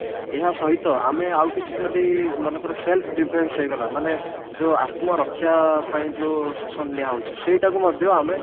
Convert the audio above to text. ଏହା ସହିତ ଆମେ ଆଉ କିଛି ଯଦି ମନେକର self defence ହେଇଗଲା ମାନେ ଯଉ ଆତ୍ମ ରକ୍ଷା ପାଇଁ ଯଉ session ନିଆ ହଉଛି ସେଇଠାକୁ ମଧ୍ୟ ଆମେ